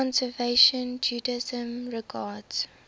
conservative judaism regards